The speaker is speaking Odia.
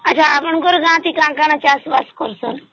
ଆଛା ଆପଣଙ୍କର ଗାଁ ରେ କଣ କଣ ଚାଷ ବାସ କରୁଛନ